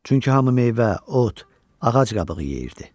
Çünki hamı meyvə, ot, ağac qabığı yeyirdi.